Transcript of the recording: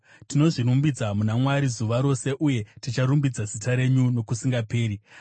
Tinozvirumbidza muna Mwari zuva rose, uye ticharumbidza zita renyu nokusingaperi. Sera